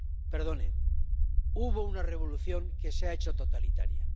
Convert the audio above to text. Perdone, hubo una revolución que se ha hecho totalitaria.